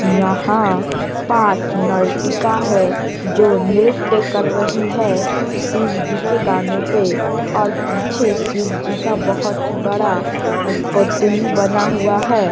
यहाँ पाँच नर्तिका है जो नृत्य कर रही है शिव जी के गाने पे और पीछे शिव जी का बहुत ही बड़ा बना हुआ है।